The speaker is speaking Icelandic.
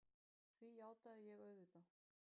Því játaði ég auðvitað.